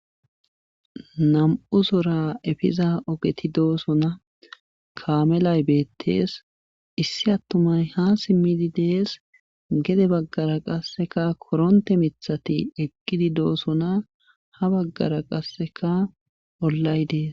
Nam7u soora efiza ogeti doosona kaamelay beetees issi attumay haa simmi dees gede baggara qasseka korontte mithatieqqidi doosona ha baggara qasse ollay dees.